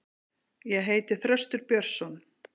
Ég heiti Þröstur Björnsson.